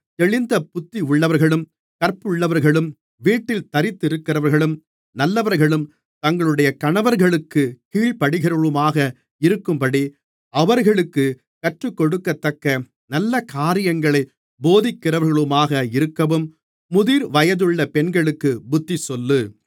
தெளிந்த புத்தியுள்ளவர்களும் கற்புள்ளவர்களும் வீட்டில் தரித்திருக்கிறவர்களும் நல்லவர்களும் தங்களுடைய கணவர்களுக்குக் கீழ்ப்படிகிறவர்களுமாக இருக்கும்படி அவர்களுக்குக் கற்றுக்கொடுக்கத்தக்க நல்லகாரியங்களைப் போதிக்கிறவர்களுமாக இருக்கவும் முதிர்வயதுள்ள பெண்களுக்குப் புத்திசொல்லு